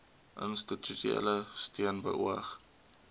institusionele steun beoog